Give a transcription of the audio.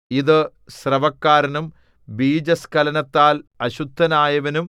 ഇതു സ്രവക്കാരനും ബീജസ്ഖലനത്താൽ അശുദ്ധനായവനും